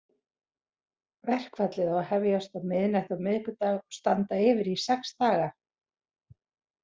Verkfallið á að hefjast á miðnætti á miðvikudag og standa yfir í sex daga.